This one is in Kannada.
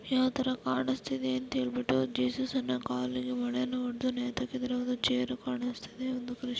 ಯಾವ ತರ ಕಾಣಿಸ್ತಿದೆ ಅಂತ ಹೇಳ್ಬಿಟ್ಟು ಜೀಸಸ್ ಅನ್ನು ಕಾಲಿಗೆ ಮಳೆಯನ್ನು ಹೊಡೆದು ನೇತಾಕಿದ್ದಾರೆ ಒಂದು ಚೇರು ಕಾಣುಸ್ತಿದೆ ಒಂದು ಕ್ರಿಶ್ಚಿ--